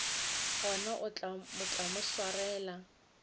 gona o tla mo swarela